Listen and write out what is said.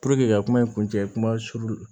ka kuma in kun cɛ kuma surun